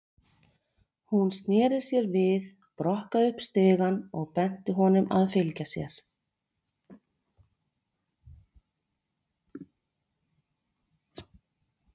Hún sneri sér við, brokkaði upp stigann og benti honum að fylgja sér.